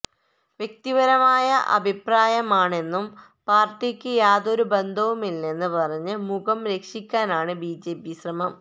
വ്യക്തിപരമായ അഭിപ്രായമാണെന്നും പാര്ട്ടിക്ക് യാതൊരു ബന്ധവുമില്ലെന്ന് പറഞ്ഞ് മുഖം രക്ഷിക്കാനാണ് ബിജെപി ശ്രമം